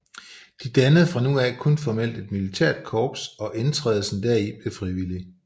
De dannede fra nu af kun formelt et militært korps og indtrædelsen deri blev frivillig